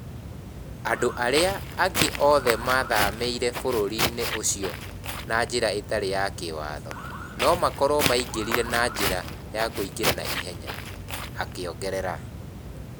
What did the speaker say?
Andũ arĩa angĩ othe mathamĩire bũrũri ũcio na njĩra ĩtarĩ ya kĩwatho no makorũo maingĩrire na njĩra ya kũingĩra na ihenya.' akĩongerera.